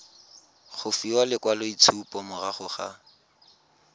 go fiwa lekwaloitshupo morago ga